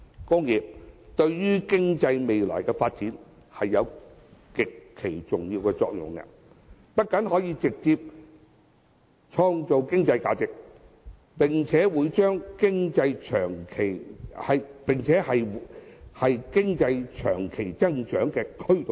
工業對經濟未來的發展有極其重要的作用，不僅可直接創造經濟價值，更是經濟長期增長的推動力。